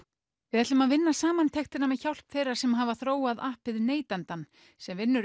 við ætlum að vinna samantektina með hjálp þeirra sem hafa þróað appið neytandann sem vinnur